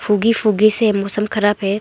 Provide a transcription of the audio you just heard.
उगी फुगी से मौसम खराब है।